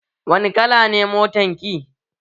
Wani kala ne motan ki?